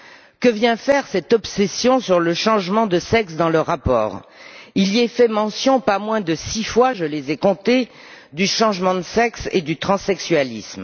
Que vient faire cette obsession sur le changement de sexe dans le rapport? Il y est fait mention pas moins de six fois, je les ai comptées, du changement de sexe et du transsexualisme.